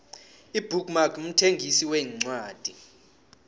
ibook mark mthengisi wencwadi